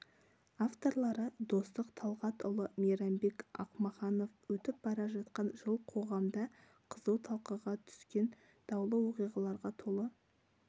авторлары достық талғатұлы мейрамбек ақмаханов өтіп бара жатқан жыл қоғамда қызу талқыға түскен даулы оқиғаларға толы